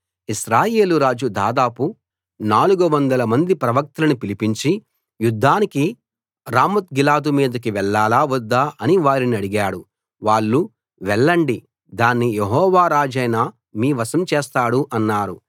ఇశ్రాయేలు రాజు దాదాపు 400 మంది ప్రవక్తలను పిలిపించి యుద్ధానికి రామోత్గిలాదు మీదికి వెళ్ళాలా వద్దా అని వారినడిగాడు వాళ్ళు వెళ్ళండి దాన్ని యెహోవా రాజైన మీ వశం చేస్తాడు అన్నారు